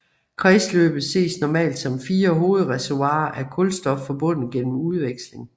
Kredsløbet ses normalt som fire hovedreservoirer af kulstof forbundet gennem udveksling